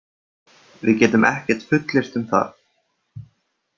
Við getum ekkert fullyrt um það.